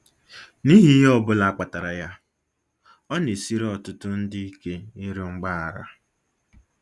N'ihi ihe ọ bụla kpatara ya, ọ na-esiri ọtụtụ ndị ike ịrịọ mgbaghara.